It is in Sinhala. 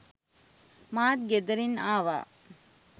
මාත් ගෙදරින් ආවා